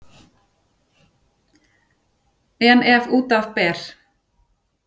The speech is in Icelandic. En ef að út af ber